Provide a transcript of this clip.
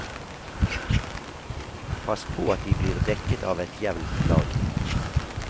Pass på at de blir dekket av et jevnt lag.